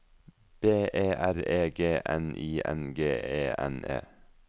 B E R E G N I N G E N E